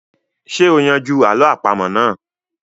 Ṣé o yanjú àlọ́ àpamọ́ náà?